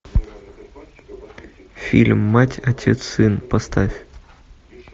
фильм мать отец сын поставь